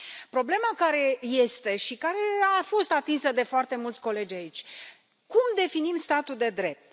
Problema care este și care a fost atinsă de foarte mulți colegi aici cum definim statul de drept?